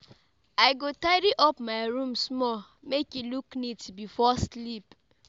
I go tidy up my room small make e look neat before sleep.